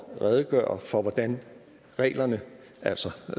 redegøre for hvordan reglerne altså